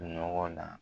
Nɔgɔ la